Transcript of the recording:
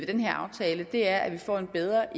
den her aftale er at vi får en bedre